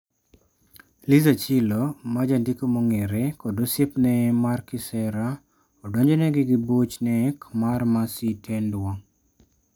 Liz Achillo ma jandiko mong'ere, kod osiepne mar kisera odonjnegi gi buch nek marMercy Tendwa.